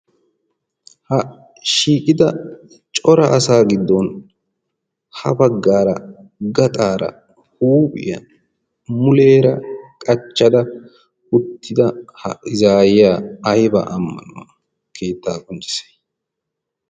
Ha shiiqida cora asaa giddon ha baggaara gaxaara huuphiyaa muleera qachchada uttida ha izaayiyaa aybaa ammanuwaa keettaa qonccissay?